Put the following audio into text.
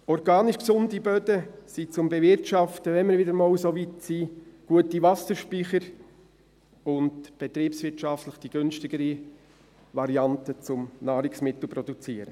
Organisch gesunde Böden sind zum Bewirtschaften – wenn wir wieder einmal so weit sind – gute Wasserspeicher und betriebswirtschaftlich die günstigere Variante, um Nahrungsmittel zu produzieren.